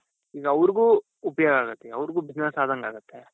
ಈಗ ಅವ್ರ್ಗೂ ಉಪಯೋಗ ಆಗುತ್ತೆ ಅವ್ರ್ಗೂ business ಆದಂಗಾಗುತ್ತೆ.